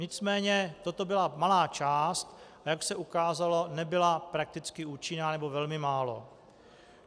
Nicméně toto byla malá část, a jak se ukázalo, nebyla prakticky účinná, nebo velmi málo.